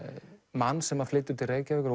mann sem flytur til Reykjavíkur og